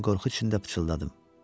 mən qorxu içində pıçıldadım.